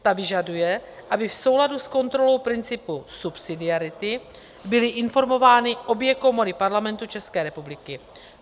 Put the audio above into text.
Ta vyžaduje, aby v souladu s kontrolou principu subsidiarity byly informovány obě komory Parlamentu České republiky.